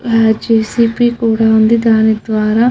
ఆ జెసిబి కూడా ఉంది దాని ద్వారా --